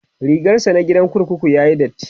rigarsa na gidan kurkuku yayi datti